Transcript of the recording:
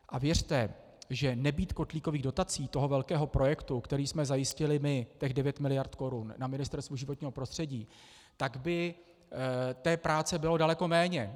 A věřte, že nebýt kotlíkových dotací, toho velkého projektu, který jsme zajistili my, těch 9 mld. korun na Ministerstvu životního prostředí, tak by té práce bylo daleko méně.